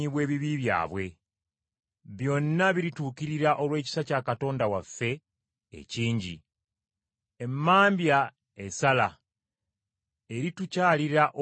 Byonna birituukirira olw’ekisa kya Katonda waffe ekingi. Emmambya esala eritukyalira okuva mu ggulu,